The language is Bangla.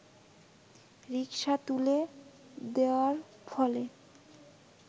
রিক্সা তুলে দেয়ার ফলে